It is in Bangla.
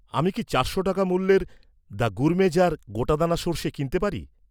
আমি কি চারশো টাকা মূল্যের, দ্য গুরমে জার, গোটাদানা সর্ষে কিনতে পারি?